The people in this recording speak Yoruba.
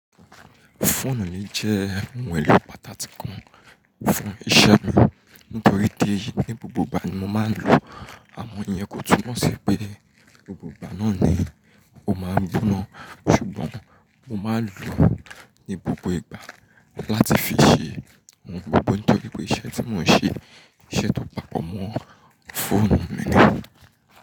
Phone mi jẹ́ ohun èlò pàtàkì kan fún iṣẹ́ mi nítorí pé ní gbogbo ìgbà ni mo máa ń lò ó. Àmọ́ ìyẹn kò túmọ̀ sí pé gbogbo ìgbà náà ni mo máa ń dun na, ṣùgbọ́n mo máa n lò ó ní gbogbo ìgbà láti fi ṣe ohun gbogbo nítorí pé iṣẹ́ tí mò ń ṣe, iṣẹ́ tó papọ̀ mọ́ phone mi ni.